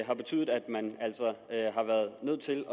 har betydet at man altså har været nødt til